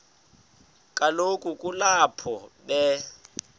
kaloku kulapho be